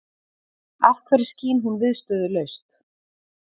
Af hverju skín hún viðstöðulaust?